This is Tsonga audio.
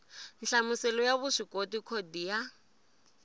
nhlamuselo ya vuswikoti khodi ya